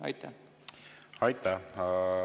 Aitäh!